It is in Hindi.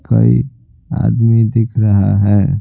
कई आदमी दिख रहा है।